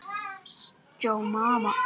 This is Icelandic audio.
askur af þyrni